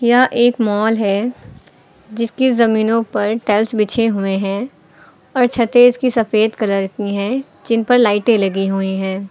यह एक मॉल है जिसकी जमीनों पर टैल्स बिछे हुए हैं और छतें इनकी सफेद कलर की है जिन पर लाइटें लगी हुई हैं।